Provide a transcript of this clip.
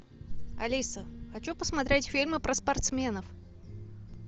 алиса хочу посмотреть фильмы про спортсменов